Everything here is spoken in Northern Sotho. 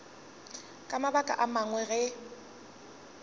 ka mabaka a mangwe ge